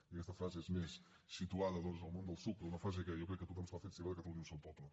que aquesta frase és més situada doncs al món del psuc però una frase que jo crec que tothom s’ha fet seva de catalunya un sol poble